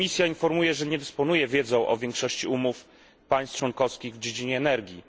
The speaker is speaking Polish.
Komisja informuje, że nie dysponuje wiedzą o większości umów państw członkowskich w dziedzinie energii.